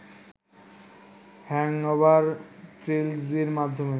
‘hangover’ ট্রিলজির মাধ্যমে